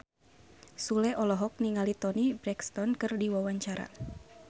Sule olohok ningali Toni Brexton keur diwawancara